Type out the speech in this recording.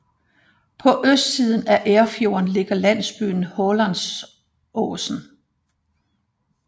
På østsiden af Erfjorden ligger landsbyen Hålandsosen